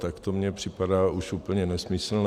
Tak to mně připadá už úplně nesmyslné.